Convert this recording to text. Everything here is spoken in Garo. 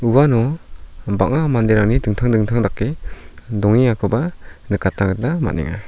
uano bang·a manderangni dingtang dingtang dake dongengakoba nikatna gita man·enga.